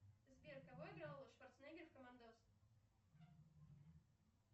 сбер кого играл шварценеггер в командос